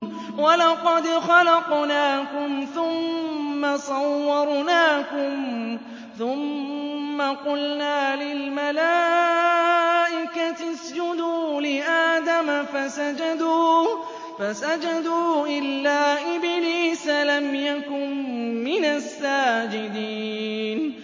وَلَقَدْ خَلَقْنَاكُمْ ثُمَّ صَوَّرْنَاكُمْ ثُمَّ قُلْنَا لِلْمَلَائِكَةِ اسْجُدُوا لِآدَمَ فَسَجَدُوا إِلَّا إِبْلِيسَ لَمْ يَكُن مِّنَ السَّاجِدِينَ